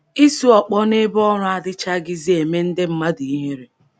Isu ọkpọ n’ebe ọrụ adịchaghịzi eme ndị mmadụ ihere.